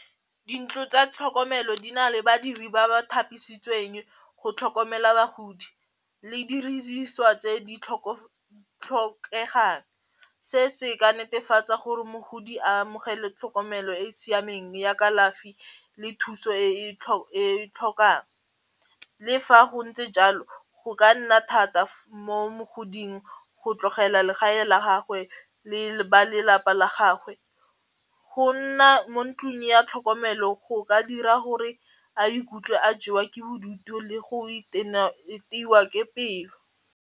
Dintlo tsa tlhokomelo di na le badiri ba ba thapisitsweng go tlhokomela bagodi le tse di tlhokegang, se se ka netefatsa gore mogodi amogele tlhokomelo e e siameng ya kalafi le thuso e e tlhokang, le fa go ntse jalo go ka nna thata mo mogoding go tlogela legae la gagwe le balapa la gagwe go nna mo ntlong ya tlhokomelo go ka dira gore a ikutlwe a jewa ke bodutu le go iteiwa ke pelo.